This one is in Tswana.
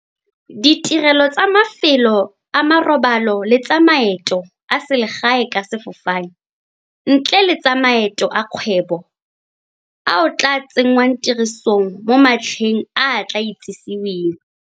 Ditirelo tsa mafelo a marobalo le tsa maeto a selegae ka sefofane, ntle le tsa maeto a kgwebo, ao a tla tsenngwang tirisong mo matlheng a a tla itsiseweng.